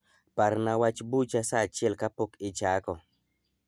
Parna wach bucha saa achiel kapok ichako.